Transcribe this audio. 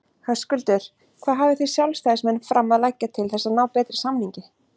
Höskuldur: Hvað hafið þið sjálfstæðismenn fram að leggja til þess að ná betri samningi?